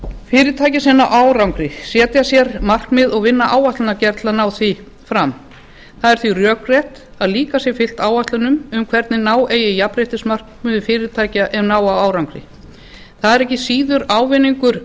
fyrirtæki sem ná árangri setja sér markmið og vinna áætlanagerð til að ná því fram það er því rökrétt að líka sé fylgt áætlunum um hvernig ná eigi jafnréttismarkmiðum fyrirtækja ef ná á árangri það er ekki síður ávinningur